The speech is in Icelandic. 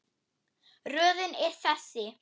Röðin er þessi